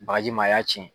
Bagaji ma a y'a ci